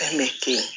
Fɛn min to yen